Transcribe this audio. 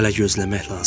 Hələ gözləmək lazımdır.